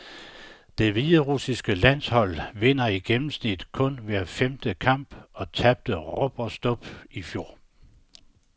Det hviderussiske landshold vinder i gennemsnit kun hver femte kamp og tabte rub og stub i fjor.